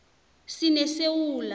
sinesewula